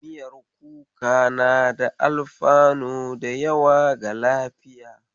Miyar kuka na da alfanu da yawa ga lafiya.